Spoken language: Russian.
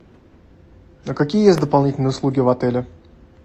а какие есть дополнительные услуги в отеле